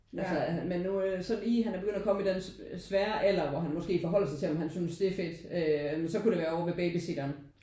Altså men nu øh sådan i han er kommet i den svære alder hvor han måske forholder sig til om han synes det er fedt øh så kunne det være over ved babysitteren